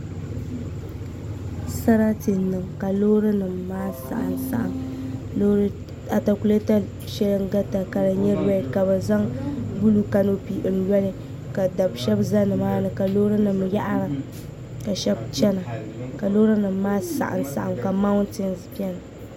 Sarati n niŋ ka loori nim maa saɣam saɣam atakulɛta shɛli n garita ka di nyɛ rɛd ka bi zaŋ buluu kanopi n loli ka dabi shab ʒɛ nimaani ka loori nim yaɣara ka shɛli chɛna ka loori nim maa saɣam saɣam ka mauntins biɛni